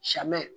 Sɛmɛ